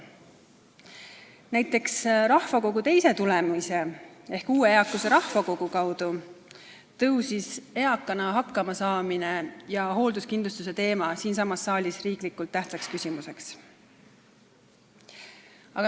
Näiteks, rahvakogu teise tulemise ehk uue eakuse rahvakogu kaudu tuli eakana hakkamasaamine ja hoolduskindlustuse teema siiasamasse saali riiklikult tähtsa küsimusena.